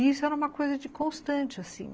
E isso era uma coisa de constante, assim.